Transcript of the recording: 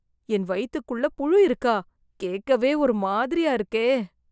என் வயித்துக்குள்ள புழு இருக்கா கேட்கவே ஒரு மாதிரியா இருக்கே